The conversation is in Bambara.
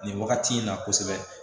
Nin wagati in na kosɛbɛ